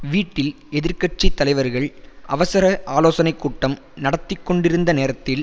வீட்டில் எதிர் கட்சி தலைவர்கள் அவசர ஆலோசனை கூட்டம் நடத்தி கொண்டிருந்த நேரத்தில்